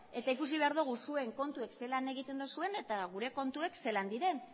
eta ikusi behar dogu zuen kontuek zelan egiten dozuen eta gure kontuek zelan diren